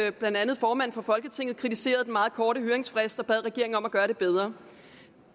at blandt andet formanden for folketinget kritiserede den meget korte høringsfrist og bad regeringen om at gøre det bedre